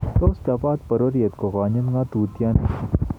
Tos chobot bororiet ko kanyit ng'atutieni?